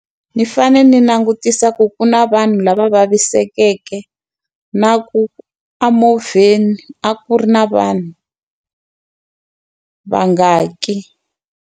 Ni fane ni langutisa ku ku na vanhu lava vavisekeke, na ku a movheni a ku ri na vanhu vangaki.